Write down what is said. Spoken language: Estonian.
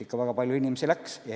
Ikka väga palju inimesi läks ära.